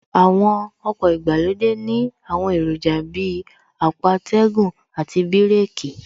Àwọn ọkọ̀ ìgbàlódé ní àwọn èròjà Bíi àpò atẹ́gùn àti bíràkì